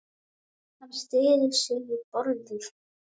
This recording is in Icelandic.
Hann styður sig við borðið.